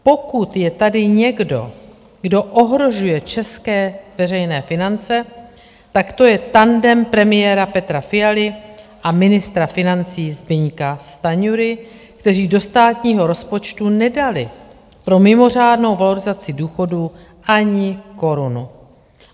Pokud je tady někdo, kdo ohrožuje české veřejné finance, tak to je tandem premiéra Petra Fialy a ministra financí Zbyňka Stanjury, kteří do státního rozpočtu nedali pro mimořádnou valorizaci důchodů ani korunu.